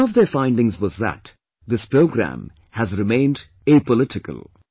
One of their findings was that, this programme has remained apolitical